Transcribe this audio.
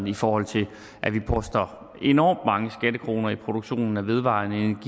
i forhold til at vi poster enormt mange skattekroner i produktionen af vedvarende